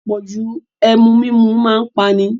Apọ̀jù Ẹmu mímu máa ń pani